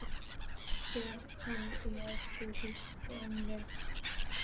Fer hann í ensku úrvalsdeildina?